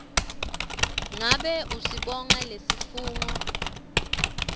ngabe usibona lesifungo